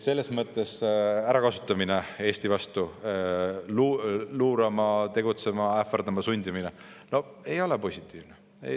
Selles mõttes ärakasutamine, Eesti vastu luurama, tegutsema, ähvardama sundimine – no ei ole positiivne.